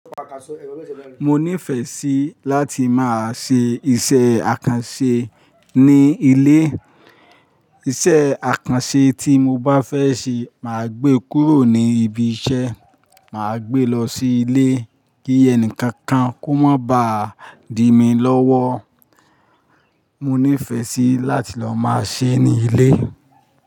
Mo ní ìfẹ́ síi láti máa ṣe iṣẹ́ àkànṣe ní ilé. Iṣẹ́ àkànṣe tí mo bá fẹ́ ṣe máa gbé kúrò ní ibi iṣẹ́, máa gbé lọ sí ilé kí ẹnìkankan kó má bá di mí lọ́wọ́. Mo ní fẹ́ sí láti lọ máa ṣe ní ilé.